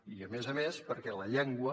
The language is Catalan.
i a més a més perquè la llengua